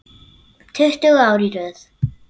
Tuttugu ár í röð.